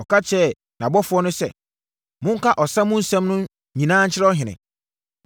Ɔka kyerɛɛ nʼabɔfoɔ no sɛ, “Monka ɔsa mu nsɛm no nyinaa nkyerɛ ɔhene.